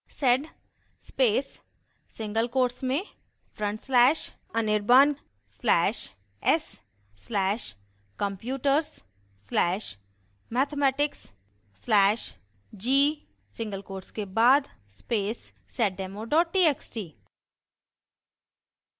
sed space single quotes में front slash anirban slash s slash computers slash mathematics slash g single quotes के बाद space seddemo txt